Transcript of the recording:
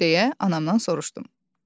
Deyə anamdan soruşdum.